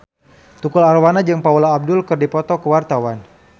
Tukul Arwana jeung Paula Abdul keur dipoto ku wartawan